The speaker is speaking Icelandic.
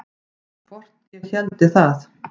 Hvort ég héldi það?